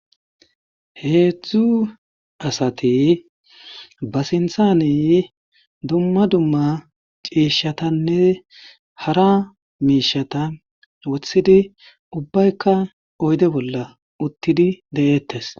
Heedzdzu asati ba sinthaney dumma dumma ciishshatanne hara miishata wothidi ubbaykka oyde bolla uttidi de'eettes